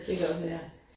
Det kan også være